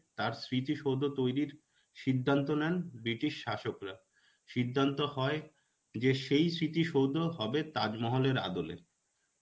তার স্মৃতি সৌধ তৈরির সিধান্ত নেন ব্রিটিশ শাসকরা. সিধান্ত হয় যে সেই স্মৃতি সৌধ হবে তাজ মহলের আদলে.